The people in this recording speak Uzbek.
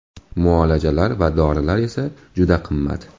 Muolajalar va dorilar esa juda qimmat.